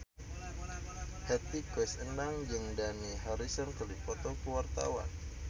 Hetty Koes Endang jeung Dani Harrison keur dipoto ku wartawan